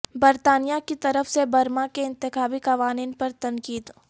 برطانیہ کی طرف سے برما کے انتخابی قوانین پر تنقید